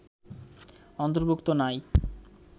অন্তর্ভুক্ত নই